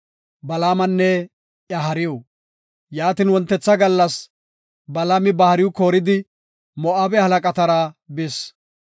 Yaatin wontetha gallas Balaami ba hariw kooridi Moo7abe halaqatara bis.